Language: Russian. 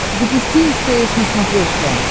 запусти стс на смотрешке